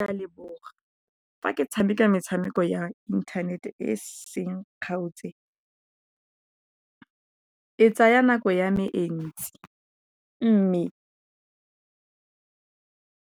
Leboga fa ke tshameka metshameko ya inthanete e seng kgaotse. E tsaya nako ya me e ntsi, mme